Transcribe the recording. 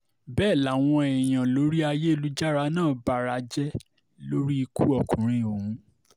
bẹ́ẹ̀ làwọn èèyàn lórí ayélujára náà bara jẹ́ lórí ikú ọkùnrin ọ̀hún